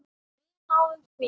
Við náðum því.